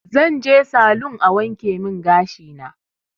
Zanje salun a wankemin gashina